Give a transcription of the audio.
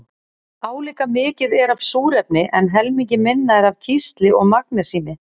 Álíka mikið er af súrefni en helmingi minna er af kísli og magnesíni.